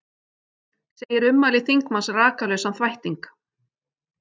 Segir ummæli þingmanns rakalausan þvætting